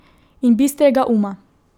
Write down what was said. In bistrega uma.